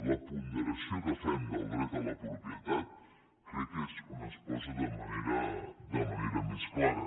la ponderació que fem del dret a la propietat crec que és on es posa de manera més clara